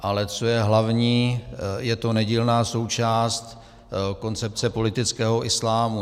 Ale co je hlavní, je to nedílná součást koncepce politického islámu.